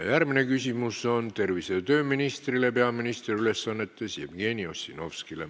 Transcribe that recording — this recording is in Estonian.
Järgmine küsimus on peaministri ülesannetes olevale tervise- ja tööministrile Jevgeni Ossinovskile.